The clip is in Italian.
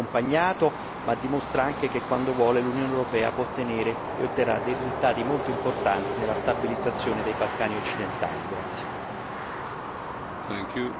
Questo dimostra che il processo va seguito e accompagnato ma anche che, quando vuole, l'Unione europea può ottenere e otterrà dei risultati molto importanti nella stabilizzazione dei Balcani occidentali.